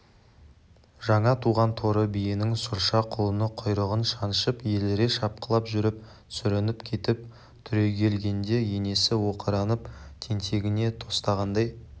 жаңа туған торы биенің сұрша құлыны құйрығын шаншып еліре шапқылап жүріп сүрініп кетіп түрегелгенде енесі оқыранып тентегіне тостағандай